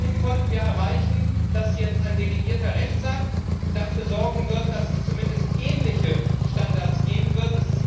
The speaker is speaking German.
Immerhin konnten wir erreichen, dass jetzt ein delegierter Rechtsakt dafür sorgen wird, dass es zumindest ähnliche Standards geben wird.